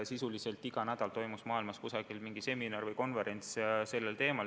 Sisuliselt iga nädal toimus maailmas kuskil mingi seminar või konverents sellel teemal.